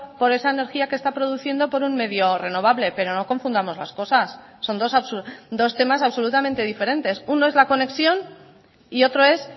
por esa energía que está produciendo por un medio renovable pero no confundamos las cosas son dos temas absolutamente diferentes uno es la conexión y otro es